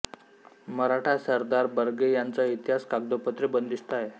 मराठा सरदार बर्गे यांचा इतिहास कागदोपत्री बंदिस्त आहे